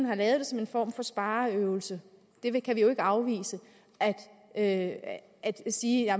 har lavet det som en form for spareøvelse det kan vi jo ikke afvise at sige